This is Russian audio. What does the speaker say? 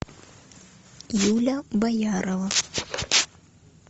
юля боярова